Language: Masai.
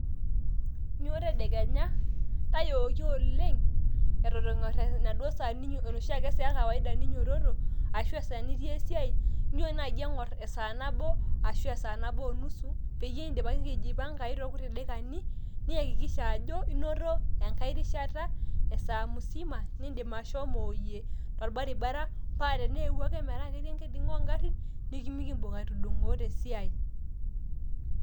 Inyo tedekenya tayooki oleng atan engor enaduo saa ekaiwaida ninyototoki esiiai inyo nai engor esaa nabo arashu engor nabo onusu peyie enjipangai torkuti daikani niyakikisha ajo inoto enaki rishata esaa musima niidim ashomoyie tolbaribara paa tenieuwua akeyie itum ingarin nilo esiai.